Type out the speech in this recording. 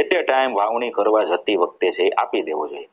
at a time વાવણી કરવા જતી વખતે છે એ આપી દેવો જોઈએ.